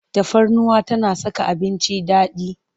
Tafarnuwa tana saka abinci daɗi.